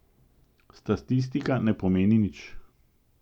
Statistika ne pomeni nič.